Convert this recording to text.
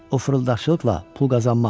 O fırıldaqçılıqla pul qazanmaz.